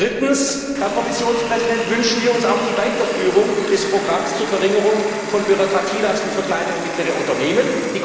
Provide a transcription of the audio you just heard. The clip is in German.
Drittens, Herr Kommissionspräsident, wünschen wir uns auch die Weiterführung des Programms zur Verringerung von Bürokratielasten für kleine und mittlere Unternehmen.